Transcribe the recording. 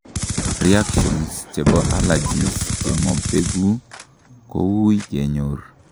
reactions chebo allergies chemobegu kowuui kenyor